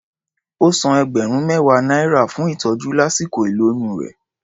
Ó san ẹgbẹ̀rún mẹ́wàá náírà fún ìtọ́jú lásìkò ìlóyún rẹ̀.